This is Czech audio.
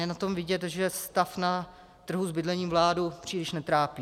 Je na tom vidět, že stav na trhu s bydlením vládu příliš netrápí.